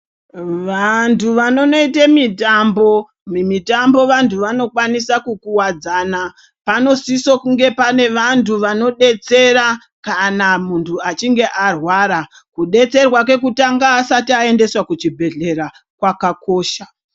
Vantu vanonoite mitambo, mumitambo vantu vanokwanisa kukuwadzana panosise kunge pane bantu vanodetsera kana muntu achinge arwara, kudetserwa kwekutanga asati aendeswa kuchibhedhleya kwakakosha.